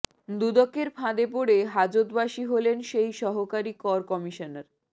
দুদকের ফাঁদে পড়ে হাজতবাসী হলেন সেই সহকারী কর কমিশনার